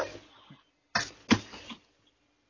எப்படுரா டா சாப்ட முடியும்